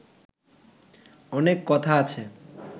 অনেক কথা আছে